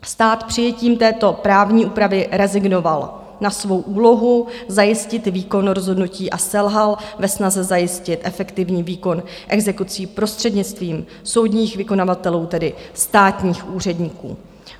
Stát přijetím této právní úpravy rezignoval na svou úlohu zajistit výkon rozhodnutí a selhal ve snaze zajistit efektivní výkon exekucí prostřednictvím soudních vykonavatelů, tedy státních úředníků.